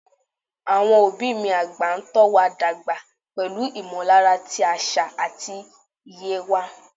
Àwọn òbí mi àgbà ń tọ́ wa dàgbà pẹ̀lú ìmọ̀lára ti àṣà àti iye wa.